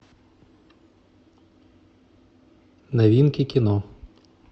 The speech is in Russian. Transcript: новинки кино